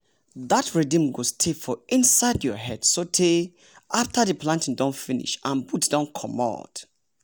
that rhythm go stay for inside your head so tey after the planting don finish and boots don comot.